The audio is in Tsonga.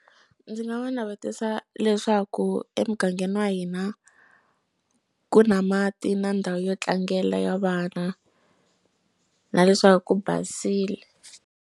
Ndzi nga va navetisa leswaku emugangeni wa hina ku na mati na ndhawu yo tlangela ya vana na leswaku ku basile.